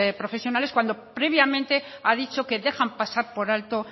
profesionales cuando previamente ha dicho que dejan pasar por alto